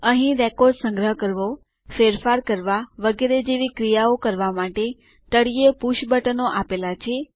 અહીં રેકોર્ડ સંગ્રહ કરવો ફેરફારો રદ કરવા વગેરે જેવી ક્રિયાઓ કરવા માટે તળિયે પુષ બટનો આપેલા છે